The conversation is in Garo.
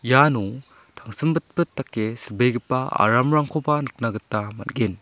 iano tangsimbitbit dake silbegipa aramrangkoba nikna gita man·gen.